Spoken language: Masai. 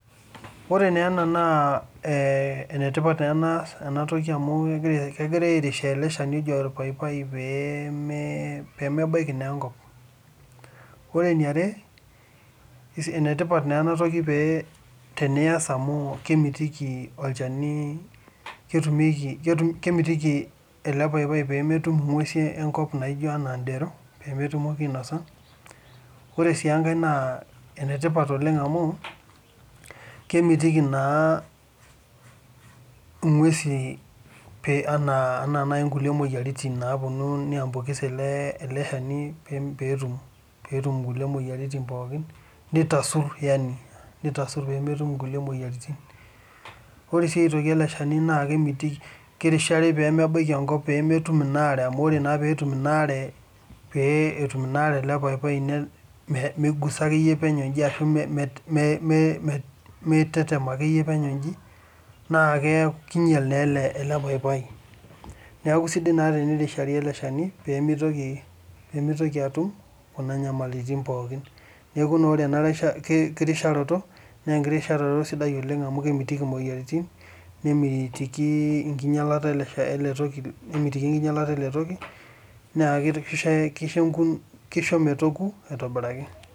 This is eh important thing because they are supporting this tree called paipai so that it doesn't fall the second thing is that it is important to do because it will not allow the tree be eaten by animals like rats another is that it is important because it will prevent it from other animals or diseases from getting into these tree another is that it will help this tree by supporting it from the water which will damage this tree paipai so it is good to support this tree so that it will not get all this troubles so this support is good because it will prevent diseases, damages and also allow it to ripe well.